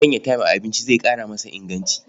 Sanya tem a abinci zai ƙara masa inganci.